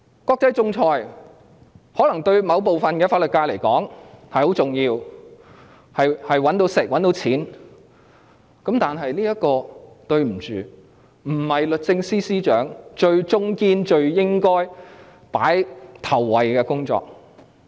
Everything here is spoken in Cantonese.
國際仲裁對某部分法律界人士而言可能非常重要，可以賺錢過活，但抱歉，這並非律政司司長最重要、最應該放在首位的工作。